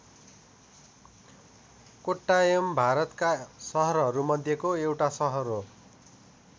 कोट्टायम भारतका सहरहरू मध्येको एउटा सहर हो।